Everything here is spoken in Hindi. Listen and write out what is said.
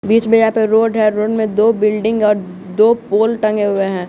बीच में यहाँ पे रोड है रोड में दो बिल्डिंग और दो पोल टंगे हुए हैं।